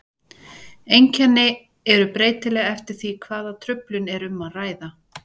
Einkenni eru breytileg eftir því hvaða truflun er um að ræða.